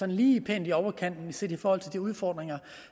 lige pænt i overkanten set i forhold til de udfordringer